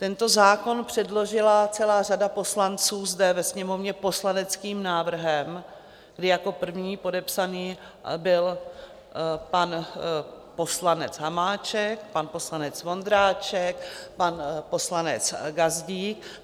Tento zákon předložila celá řada poslanců zde ve Sněmovně poslaneckým návrhem, kdy jako první podepsaný byl pan poslanec Hamáček, pan poslanec Vondráček, pan poslanec Gazdík.